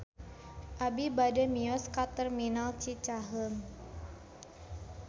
Abi bade mios ka Terminal Cicaheum